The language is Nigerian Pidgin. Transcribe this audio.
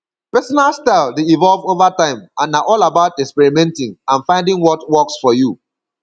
pesinal style dey evolve over time and na all about experimenting and finding what works for you